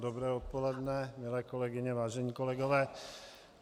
Dobré odpoledne, milé kolegyně, vážení kolegové.